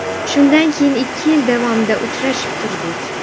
Shundan keyin ikki yil davomida uchrashib turdik.